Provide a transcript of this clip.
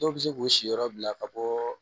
Dɔw bɛ se k'u siyɔrɔ bila ka bɔ